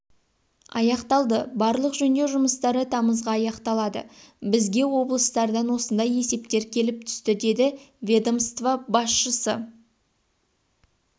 аяқталды барлық жөндеу жұмыстары тамызға аяқталады бізге облыстардан осындай есептер келіп түсті деді ведомство басшысы